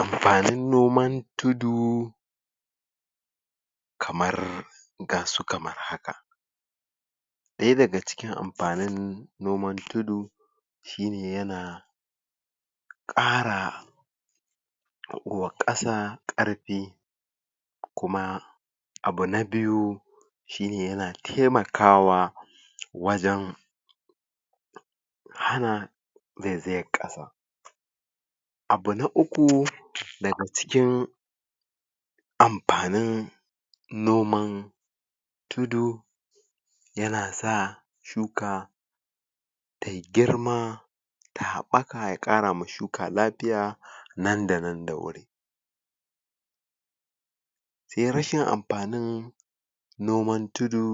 Ampanin noman tuidu kamar gasu kamar haka ɗaya daga ciki ampanin noman tudu shine yana ƙara wa ƙasa ƙarpi kuma abu na biyu shine yana temakawa wajen hana zaizayan ƙasa abu na uku daga cikin ampanin noman tudu yana sa shuka tayi girma ta haɓɓaka ya ƙara ma shuka lapiya nan da nan da wuri se rashin ampanin noman tudu